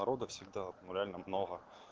народа всегда реально много